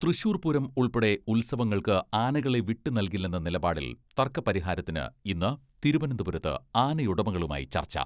തൃശൂർ പൂരം ഉൾപ്പെടെ ഉത്സവങ്ങൾക്ക് ആനകളെ വിട്ടു നൽകില്ലെന്ന നിലപാടിൽ തർക്ക പരിഹാരത്തിന് ഇന്ന് തിരുവനന്തപുരത്ത് ആനയുടമകളുമായി ചർച്ച.